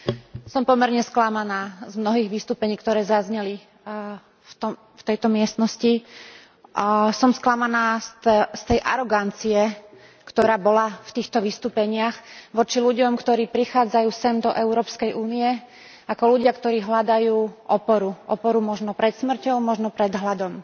Chcela by som povedať, že som pomerne sklamaná z mnohých vystúpení, ktoré zazneli v tejto miestnosti. Som sklamaná z tej arogancie, ktorá bola v týchto vystúpeniach voči ľuďom, ktorí prichádzajú sem do Európskej únie ako ľudia, ktorí hľadajú oporu, oporu možno pred smrťou, možno pred hladom.